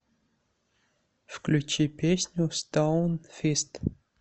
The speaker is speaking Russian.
включи песню стоунфист